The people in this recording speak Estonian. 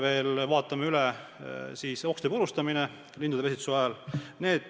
Peale selle vaatame üle okste purustamise lindude pesitsuse ajal.